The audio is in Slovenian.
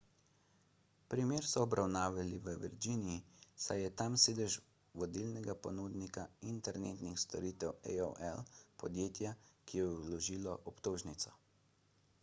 primer so obravnavali v virginiji saj je tam sedež vodilnega ponudnika internetnih storitev aol podjetja ki je vložilo obtožnico